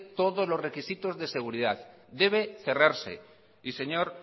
todos los requisitos de seguridad debe cerrarse y señor